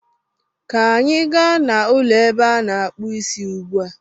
ka anyị gaa n'ụlọ ebe a na-akpụ Ịsị ugbu a!